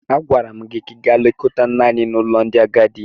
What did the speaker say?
Agwara m gị ka ị gaa lekọta nne anyị n’ụlọ ndị agadi!